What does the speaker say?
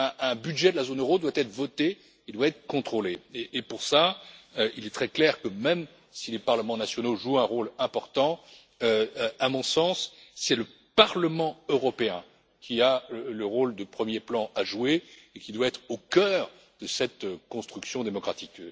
Un budget de la zone euro doit être voté et doit être contrôlé. Pour cela, il est très clair que même si les parlements nationaux jouent un rôle important, à mon sens, c'est le Parlement européen qui doit jouer le rôle de premier plan et qui doit être au cœur de cette construction démocratique.